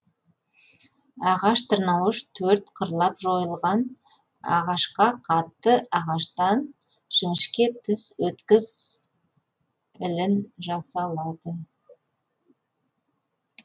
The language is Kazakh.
ағаш тырнауыш төрт қырлап жойылған ағашқа қатты ағаштан жіңішке тіс өткіз ілін жасалады